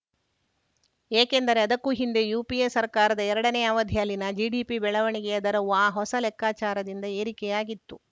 ಏಕೆಂದರೆ ಅದಕ್ಕೂ ಹಿಂದೆ ಯುಪಿಎ ಸರ್ಕಾರದ ಎರಡನೇ ಅವಧಿಯಲ್ಲಿನ ಜಿಡಿಪಿ ಬೆಳವಣಿಗೆಯ ದರವೂ ಆ ಹೊಸ ಲೆಕ್ಕಾಚಾರದಿಂದ ಏರಿಕೆಯಾಗಿತ್ತು